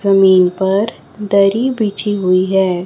जमीन पर दरी बिछी हुई है।